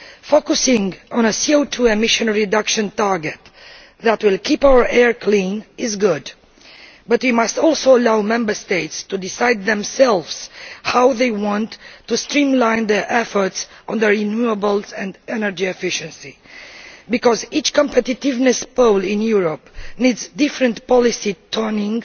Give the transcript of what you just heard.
Focussing on a CO 2 emissions reduction target that will keep our air clean is good, but we must also allow Member States to decide themselves how they want to streamline their efforts on renewables and energy efficiency because each competitiveness pole in Europe needs different policy tuning